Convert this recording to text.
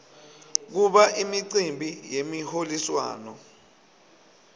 kuba imicimbi yemiholiswano